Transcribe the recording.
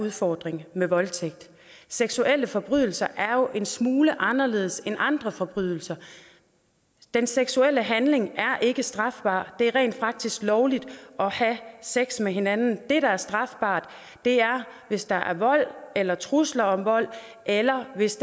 udfordring med voldtægt seksuelle forbrydelser er jo en smule anderledes end andre forbrydelser den seksuelle handling er ikke strafbar det er rent faktisk lovligt at have sex med hinanden det der er strafbart er hvis der er vold eller trusler om vold eller hvis